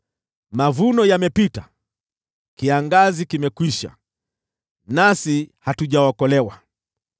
“Mavuno yamepita, kiangazi kimekwisha, nasi hatujaokolewa.”